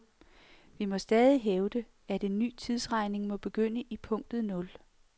Vi må stadig hævde, at en ny tidsregning må begynde i punktet nul.